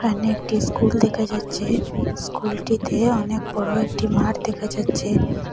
এখানে একটি স্কুল দেখা যাচ্ছে স্কুলটিতে অনেক বড়ো একটি মাঠ দেখা যাচ্ছে।